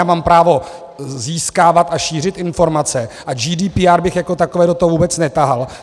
Já mám právo získávat a šířit informace a GDPR bych jako takové do toho vůbec netahal.